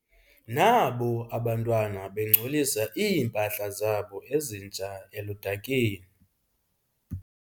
Nabo abantwana bengcolisa iimpahla zabo ezintsha eludakeni.